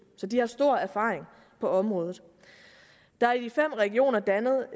så de har stor erfaring på området der er i de fem regioner dannet